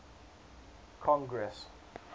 congress